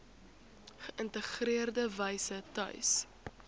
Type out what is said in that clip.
geïntegreerde wyse tuis